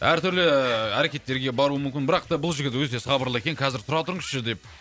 әр түрлі әрекеттерге баруы мүмкін бірақ та бұл жігіт өте сабырлы екен қазір тұра тұрыңызшы деп